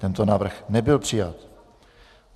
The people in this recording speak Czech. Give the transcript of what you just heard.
Tento návrh nebyl přijat.